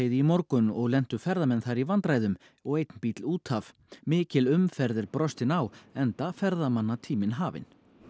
í morgun og lentu ferðamenn þar í vandræðum og einn bíll út af mikil umferð er brostin á enda ferðamannatíminn hafinn